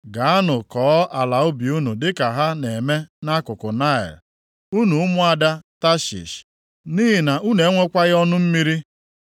Gaanụ kọọ ala ubi unu dịka ha na-eme nʼakụkụ Naịl, unu ụmụada Tashish, nʼihi na unu enwekwaghị ọnụ mmiri.